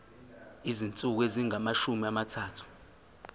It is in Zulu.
izinsuku ezingamashumi amathathu